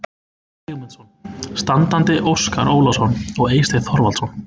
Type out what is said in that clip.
Sigmundsson, standandi Óskar Ólafsson og Eysteinn Þorvaldsson.